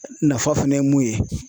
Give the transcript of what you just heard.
Nafa fɛnɛ ye mun ye